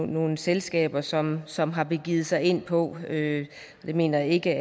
nogle selskaber som som har begivet sig ind på det mener jeg ikke